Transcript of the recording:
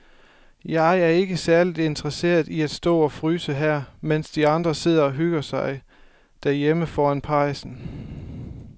Jeg er ikke særlig interesseret i at stå og fryse her, mens de andre sidder og hygger sig derhjemme foran pejsen.